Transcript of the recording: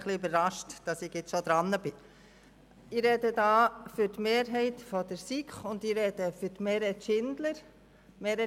der SiK. Ich spreche für die Mehrheit der SiK, und ich spreche für Meret Schindler.